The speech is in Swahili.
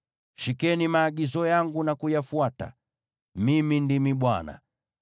“Shikeni maagizo yangu na kuyafuata. Mimi ndimi Bwana .